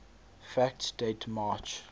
facts date march